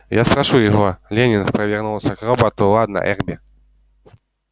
я спрошу его лэннинг повернулся к роботу ладно эрби